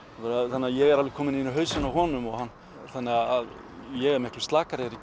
þannig að ég er alveg kominn inn í hausinn á honum þannig að ég er miklu slakari þegar